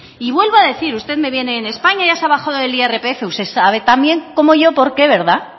y vuelvo a decir usted me viene en españa ya se ha bajado el irpf usted sabe tan bien como yo por qué verdad